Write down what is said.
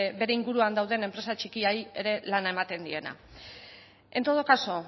bere inguruan dauden enpresa txikiei ere lana ematen diena en todo caso